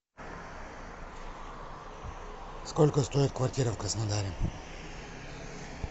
сколько стоит квартира в краснодаре